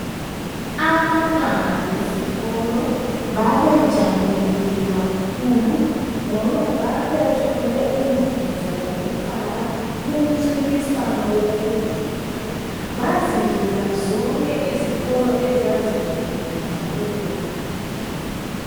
Abantwana besikolo babejabulile kakhulu ngoba babethole umvuzo wokuqala kumncintiswano wokudweba, bazidlula zonke izikolo ezazibuyile ngalelolanga.